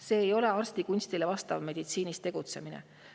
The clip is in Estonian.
See ei ole arstikunstile vastav meditsiinis tegutsemine.